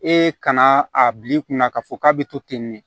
E kana a bil'i kunna k'a fɔ k'a bɛ to ten de